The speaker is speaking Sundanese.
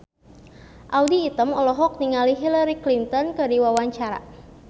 Audy Item olohok ningali Hillary Clinton keur diwawancara